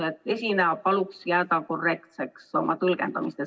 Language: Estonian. Palun esinejal jääda tõlgendamisel korrektseks!